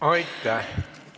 Aitäh!